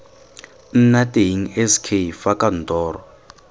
nna teng sk fa kantoro